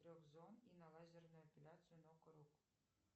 трех зон и на лазерную эпиляцию ног рук